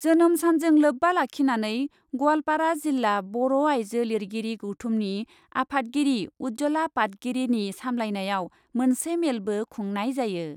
जोनोम सानजों लोब्बा लाखिनानै ग'वालपारा जिल्ला बर' आइजो लिरगिरि गौथुमनि आफादगिरि उज्जला पातगिरीनि सामब्लायनायाव मोनसे मेलबो खुंनाय जायो।